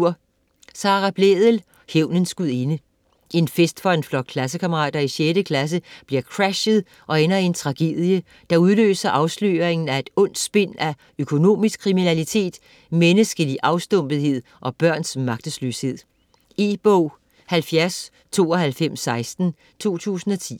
Blædel, Sara: Hævnens gudinde En fest for en flok klassekammerater i 6. klasse bliver crashet og ender i en tragedie, der udløser afsløringen af et ondt spind af økonomisk kriminalitet, menneskelig afstumpethed og børns magtesløshed. E-bog 709216 2010.